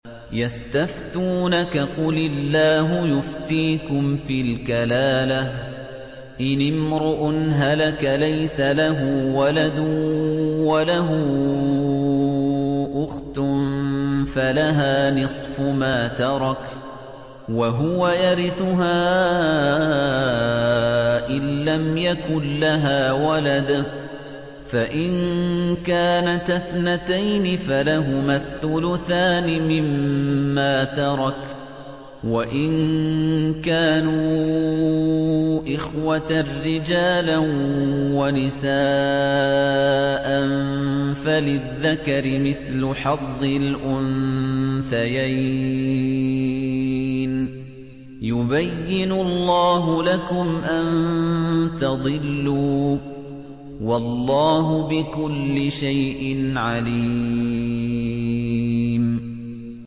يَسْتَفْتُونَكَ قُلِ اللَّهُ يُفْتِيكُمْ فِي الْكَلَالَةِ ۚ إِنِ امْرُؤٌ هَلَكَ لَيْسَ لَهُ وَلَدٌ وَلَهُ أُخْتٌ فَلَهَا نِصْفُ مَا تَرَكَ ۚ وَهُوَ يَرِثُهَا إِن لَّمْ يَكُن لَّهَا وَلَدٌ ۚ فَإِن كَانَتَا اثْنَتَيْنِ فَلَهُمَا الثُّلُثَانِ مِمَّا تَرَكَ ۚ وَإِن كَانُوا إِخْوَةً رِّجَالًا وَنِسَاءً فَلِلذَّكَرِ مِثْلُ حَظِّ الْأُنثَيَيْنِ ۗ يُبَيِّنُ اللَّهُ لَكُمْ أَن تَضِلُّوا ۗ وَاللَّهُ بِكُلِّ شَيْءٍ عَلِيمٌ